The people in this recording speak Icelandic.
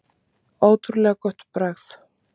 Ótrúlega gott bragð.